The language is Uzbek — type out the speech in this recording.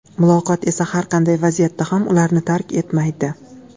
Muloqot esa har qanday vaziyatda ham ularni tark etmaydi.